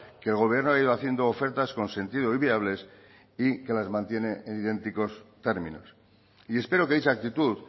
que el gobierno ha ido haciendo ofertas con sentido y viables y que las mantiene en idénticos términos y espero que dicha actitud